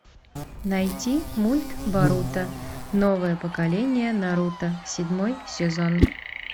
найти мульт боруто новое поколение наруто седьмой сезон